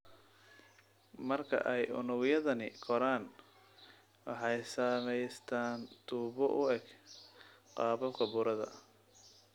Marka ay unugyadani koraan, waxay samaystaan ​​tuubo u eg qaababka burada.